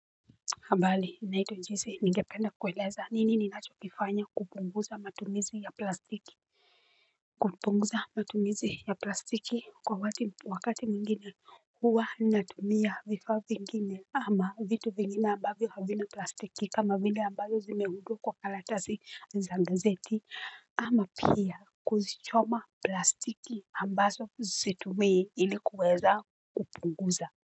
Hambali naitwa njisi ningependa kueleza nini ninacho kifanya kupunguza matumizi ya plastiki. Kupunguza matumizi ya plastiki kwa wati wakati mwingine huwa natumia vifaa vingine ama vitu vingine ambavyo havina plastiki kama vile ambazo zimeundwa kwa kalatazi za gazeti ama pia kuzichoma plastiki ambazo zisitumie ili kuweza kupunguza.